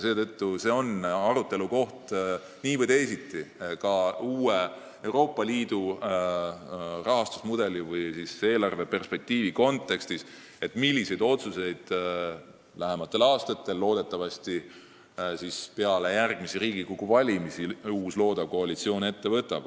Seetõttu on see nii või teisiti arutelukoht ka uue Euroopa Liidu eelarveperspektiivi kontekstis – milliseid otsuseid teeb lähematel aastatel, loodetavasti peale järgmisi Riigikogu valimisi, uus loodav koalitsioon.